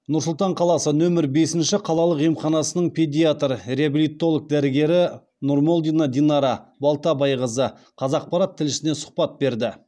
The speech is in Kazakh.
нұр сұлтан қаласы нөмір бесінші қалалық емханасының педиатр реабилитолог дәрігері нұрмолдина динара балтабайқызы қазақпарат тілшісіне сұхбат берді